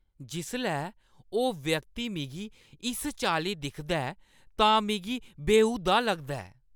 जिसलै ओह् व्यक्ति मिगी इस चाल्ली दिखदा ऐ तां मिगी बेहूदा लगदा ऐ।